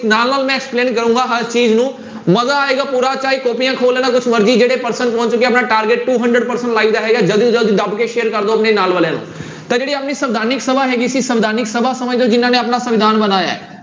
ਨਾਲ ਨਾਲ ਮੈਂ explain ਕਰਾਂਗਾ ਹਰ ਚੀਜ਼ ਨੂੰ ਮਜ਼ਾ ਆਏਗਾ ਪੂਰਾ ਚਾਹੇ ਕਾਪੀਆਂ ਖੋਲ ਲੈਣਾ ਕੁਛ ਮਰਜ਼ੀ ਜਿਹੜੇ person ਪਹੁੰਚ ਚੁੱਕੇ ਆ ਆਪਣਾ target two hundred percent live ਰਹੇਗਾ ਜ਼ਲਦੀ ਜ਼ਲਦੀ ਦੱਬ ਕੇ share ਕਰ ਦਓ ਆਪਣੇ ਨਾਲ ਵਾਲਿਆਂ ਨੂੂੰ ਤਾਂ ਜਿਹੜੀ ਆਪਣੀ ਸਵਿਧਾਨਕ ਸਭਾ ਹੈਗੀ ਸੀ ਸਵਿਧਾਨਕ ਸਭਾ ਸਮਝਦੇ ਹੋ ਜਿਹਨਾਂ ਨੇ ਆਪਣਾ ਸੰਵਿਧਾਨ ਬਣਾਇਆ ਹੈ।